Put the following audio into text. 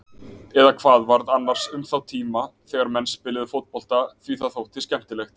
Eða hvað varð annars um þá tíma þegar menn spiluðu fótbolta því það þótti skemmtilegt?